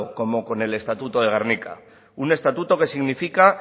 como con el estatuto de gernika un estatuto que significa